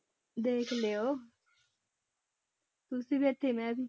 ਦੇਖ ਲਇਓ ਤੁਸੀਂ ਵੀ ਇੱਥੇ ਮੈਂ ਵੀ।